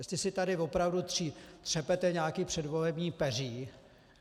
Jestli si tady opravdu třepete nějaké předvolební peří...